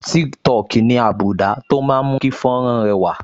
Tiktok ní́ àbùdá tó máa ń mú kí fọ́nrán rẹwà